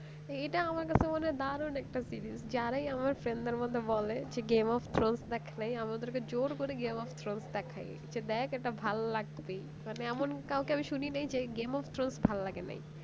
এইটা আমার কাছে একটা দারুণ একটা series যারাই আমার friend দের মধ্যে বলে যে game of throne দেখা নেই আমাকে জোর করে game of throne দেখায় যে দেখ এটা ভালো লাগবেই এমন কাউকে শুনি নাই যে game of throne ভালো লাগেনা